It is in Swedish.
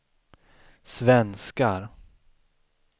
svenskar